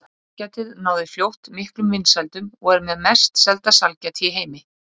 Sælgætið náði fljótt miklum vinsældum og er með mest selda sælgæti í heimi.